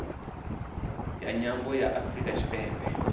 ya nyambo ya afrika tshipembe